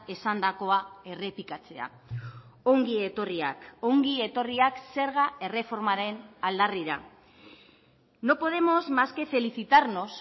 esandakoa errepikatzea ongi etorriak ongi etorriak zerga erreformaren aldarrira no podemos más que felicitarnos